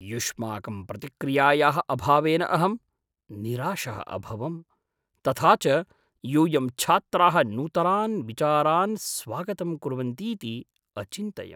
युष्माकं प्रतिक्रियायाः अभावेन अहं निराशः अभवं, तथा च यूयं छात्राः नूतनान् विचारान् स्वागतं कुर्वर्न्तीति अचिन्तयम्।